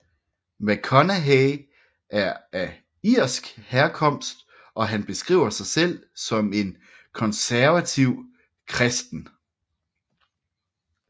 McConaughey er af irsk herkomst og han beskriver sig selv som en konservativ kristen